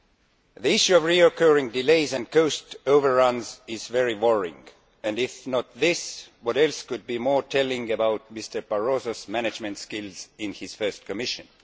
The issue of recurring delays and cost overruns is very worrying and, if not this, what else could be more telling about Mr Barroso's management skills in his first Commission?